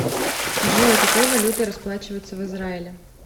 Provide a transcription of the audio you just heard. джой какой валютой расплачиваются в израиле